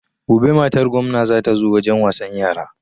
Gobe matar gomna za ta zo wajen wasan yara